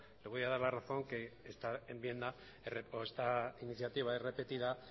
le voy a dar la razón que esta enmienda o esta iniciativa es repetida